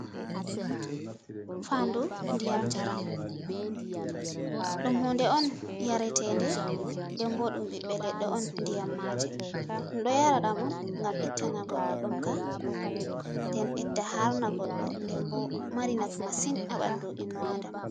Fandu ndiyam jara ɗum hude on yaretede, den bo ɗum ɓiɓɓe leɗɗo on ndiyam ma'je, ɗum ɗo yara ɗam on gam ittana goɗɗo ɗon ka den ɓedda harna goɗɗo, den bo mari nafu masin aɓandu innu a'dama.